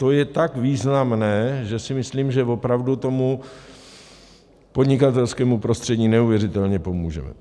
To je tak významné, že si myslím, že opravdu tomu podnikatelskému prostředí neuvěřitelně pomůžeme.